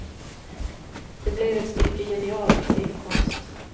Det blev ett stycke genial scenkonst.